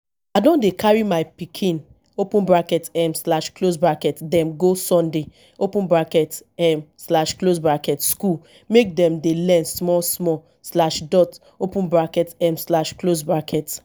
i don dey carry my pikin open bracket um slash close bracket dem go sunday open bracket um slash close bracket skool make dem dey learn small small slash dot open bracket um slash close bracket